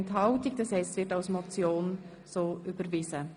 Somit ist der Vorstoss so als Motion überwiesen.